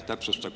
Aitäh!